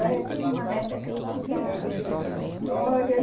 Ah eu tenho uma neta que é uma graça, Vitória.